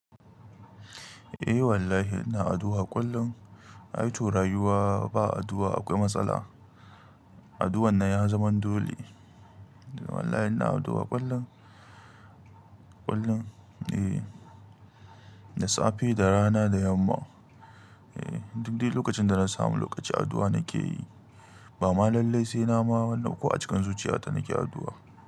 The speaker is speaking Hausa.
Eh wallahi ina addu'a kullum. Ai to rayuwa ba addu'a akwai matsala. Addu'ar nan ya zama dole. Wallahi ina addu'a kullum, kullum. Eh, da safe, da rana, da yamma. Eh, duk dai lokacin da na samu lokaci addu'a nake yi. Ba ma lallai sai na ma, wannan ko a cikin zuciyata nake addu'a.